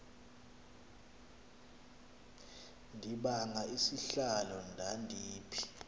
ndibanga isihlalo ndandiphi